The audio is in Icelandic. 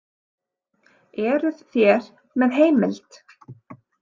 Eruð þér með heimild?